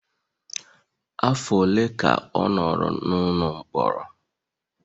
Afọ ole ka ọ nọrọ n'ụlọ mkpọrọ?